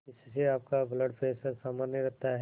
इससे आपका blood pressure सामान्य रहता है